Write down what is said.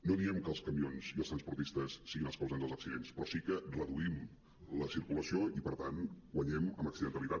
no diem que els camions i els transportistes siguin els causants dels accidents però sí que reduïm la circulació i per tant guanyem en accidentalitat